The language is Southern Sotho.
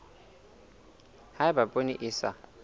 ha eba poone e sa